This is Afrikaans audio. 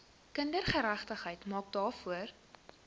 kindergeregtigheid maak daarvoor